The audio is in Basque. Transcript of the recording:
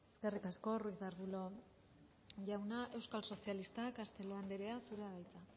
eskerrik asko ruiz de arbulo jauna euskal sozialistak castelo andrea zurea da hitza